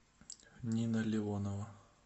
нина леонова